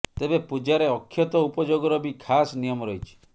ତେବେ ପୂଜାରେ ଅକ୍ଷତ ଉପଯୋଗର ବି ଖାସ ନିୟମ ରହିଛି